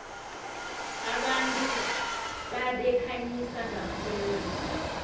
abantu babekhanyisa ngamakeresi